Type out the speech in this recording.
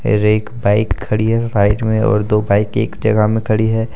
और एक बाइक खड़ी है साइड में और दो बाइक एक जगह में खड़ी है।